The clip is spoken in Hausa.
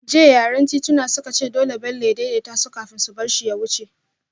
Jiya yaran tituna suka ce dole Bello ya daidaita su kafin su bar shi ya wuce